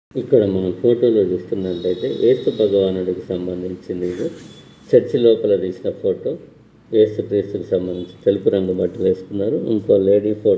ఇక్కడ మనం ఫోటో లో చూస్తున్నట్టైతే యేసు బగవానుడికి సంబంధించినది యేదో చర్చి లోపల తీసిన ఫోటో యేసు క్రీస్తు కి సంబందించి తెలుపు రంగు బట్టలు వేసుకున్నారు ఇంకో లేడి --